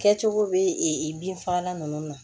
Kɛcogo bɛ bin fagalan nunnu na